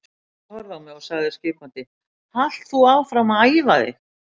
Sóldís horfði á mig og sagði skipandi: Halt þú áfram að æfa þig.